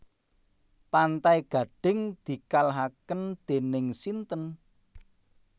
Pantai Gading dikalahaken dening sinten?